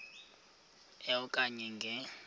e okanye nge